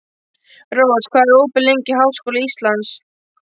Rós, hvað er opið lengi í Háskóla Íslands?